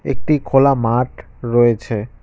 একটি খোলা মাঠ রয়েছে।